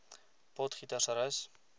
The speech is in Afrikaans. potgietersrus